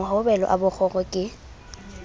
mohobelo a b kgoro ke